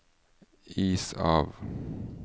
is av